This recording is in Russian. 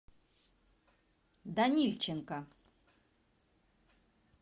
данильченко